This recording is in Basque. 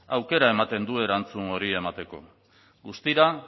aukera ematen du erantzun hori emateko guztira